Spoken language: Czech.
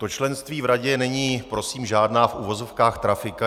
To členství v radě není prosím žádná v uvozovkách trafika.